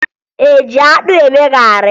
E ji akpụ eme garị